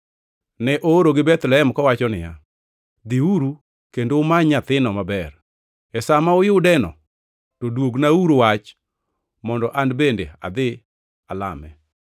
Ne oorogi Bethlehem, kowacho niya, “Dhiuru kendo umany nyathino maber. E sa ma uyudeno to duognauru wach mondo an bende adhi alame.”